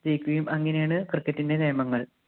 ജയിക്കുകയും അങ്ങനെയാണ് cricket ഇന്‍റെ നിയമങ്ങള്‍.